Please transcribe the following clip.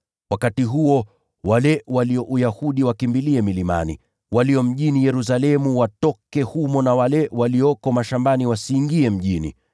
Wakati huo, wale walio Uyahudi wakimbilie milimani, walio mjini Yerusalemu watoke humo, nao wale walioko mashambani wasiingie mjini.